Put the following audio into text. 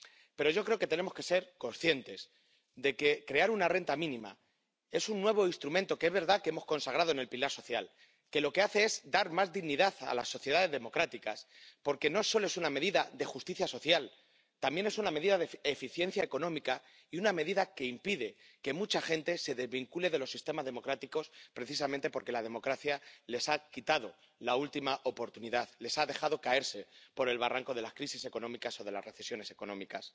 Pero yo creo que tenemos que ser conscientes de que crear una renta mínima es un nuevo instrumento ⸻que es verdad que hemos consagrado en el pilar social⸻ que lo que hace es dar más dignidad a las sociedades democráticas, porque no solo es una medida de justicia social, también es una medida de eficiencia económica y una medida que impide que mucha gente se desvincule de los sistemas democráticos precisamente porque la democracia les ha quitado la última oportunidad, les ha dejado caerse por el barranco de las crisis económicas o de las recesiones económicas.